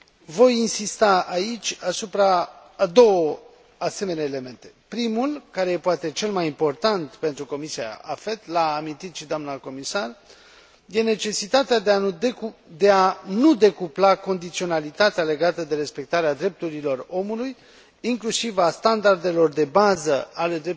Voi insista aici asupra a două asemenea elemente. Primul, care este poate cel mai important pentru Comisia AFET, l a amintit și doamna comisar, este necesitatea de a nu decupla condiționalitatea legată de respectarea drepturilor omului, inclusiv a standardelor de bază ale